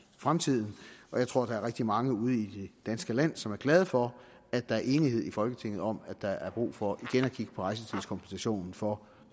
fremtiden jeg tror at der er rigtig mange ude i det danske land som er glade for at der er enighed i folketinget om at der er brug for igen at kigge på rejsetidskompensationen for